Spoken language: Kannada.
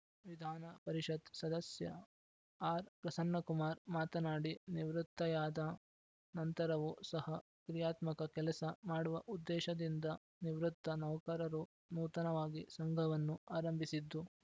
ವಿಧಾನ ಪರಿಷತ್‌ ಸದಸ್ಯ ಆರ್‌ಪ್ರಸನ್ನ ಕುಮಾರ್‌ ಮಾತನಾಡಿ ನಿವೃತ್ತಿಯಾದ ನಂತರವು ಸಹ ಕ್ರಿಯಾತ್ಮಕ ಕೆಲಸ ಮಾಡುವ ಉದ್ದೇಶದಿಂದ ನಿವೃತ್ತ ನೌಕರರು ನೂತನವಾಗಿ ಸಂಘವನ್ನು ಆರಂಭಿಸಿದ್ದು